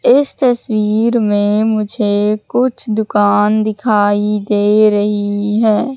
इस तस्वीर में मुझे कुछ दुकान दिखाई दे रही है।